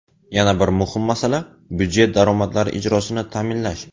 Yana bir muhim masala budjet daromadlari ijrosini ta’minlash.